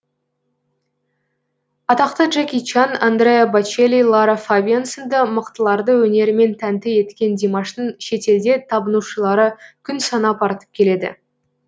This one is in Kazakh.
атақты джеки чан андреа бочелли лара фабиан сынды мықтыларды өнерімен тәнті еткен димаштың шетелде табынушылары күн санап артып келеді